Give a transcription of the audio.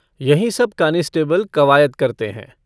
यहीं सब कानिसटिबिल कवायद करते हैं।